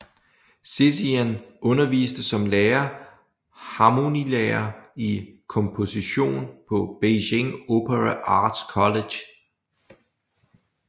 Xixian underviste som lærer harmonilærer i komposition på Beijing Opera Arts College